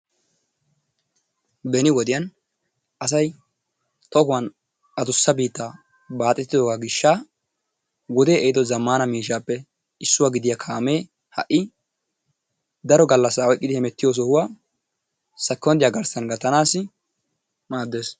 Benni wodiyan asayi adussa bittaa baxetido gishaa wodee ehido zamana mishappe isuwaa gidiyaa kamme hai daro galasa oyikidi hemetiyo sohuwaa secondiya garsan gattanassi madess.